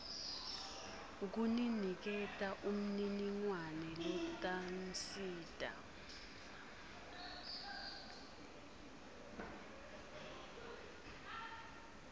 kuniniketa umniningwane lotanisita